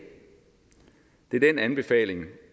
er den anbefaling